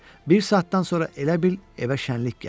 Bir saatdan sonra elə bil evə şənlik gəldi.